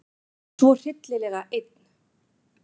Svo hryllilega einn.